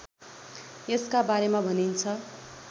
यसका बारेमा भनिन्छ